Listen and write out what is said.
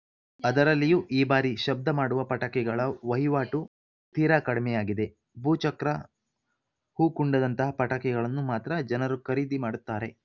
ಅದರಲ್ಲಿಯೂ ಈ ಬಾರಿ ಶಬ್ದ ಮಾಡುವ ಪಟಾಕಿಗಳ ವಹಿವಾಟು ತೀರಾ ಕಡಿಮೆಯಾಗಿದೆ ಭೂ ಚಕ್ರ ಹೂಕುಂಡದಂತಹ ಪಟಾಕಿಗಳನ್ನು ಮಾತ್ರ ಜನರು ಖರೀದಿ ಮಾಡುತಾರೆ